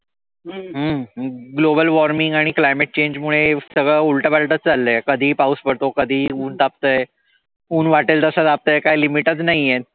हम्म Global Warming आणि climate change मुळॆ सगळं उलटं पालटंच चाललंय. कधीही पाऊस पडतो कधी ऊन तापतय. ऊन वाटेल तसं तापतय काही limit च नाही आहे.